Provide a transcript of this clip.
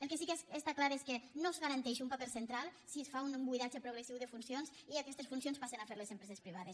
el que sí que està clar és que no es garanteix un paper central si es fa un buidatge progressiu de funcions i aquestes funcions passen a fer les empreses privades